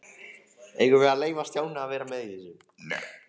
Eigum við að leyfa Stjána að vera með í þessu?